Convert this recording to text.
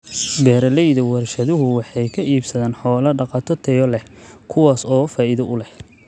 Beeralayda warshaduhu waxay ka iibsadaan xoolo dhaqato tayo leh, kuwaas oo faa'iido u leh.